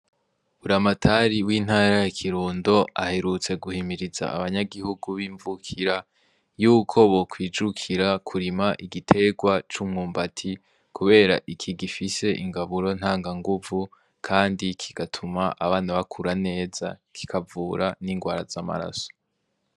Buramatari w'intara ya Kirundo aherutse guhimiriza abanyagihugu b'imvukira, yuko bokwijukira kurima igiterwa c'umwumbati kubera iki gifise ingaburo ntanganguvu kandi kigatuma abana bakura neza, kikavura n'ingwara z'amaraso.